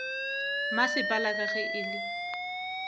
masepala ka ge e le